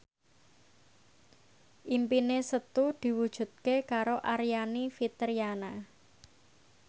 impine Setu diwujudke karo Aryani Fitriana